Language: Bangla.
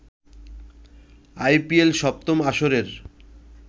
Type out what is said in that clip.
আইপিএল সপ্তম আসরের